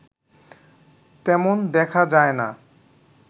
তেমন দেখা যায় না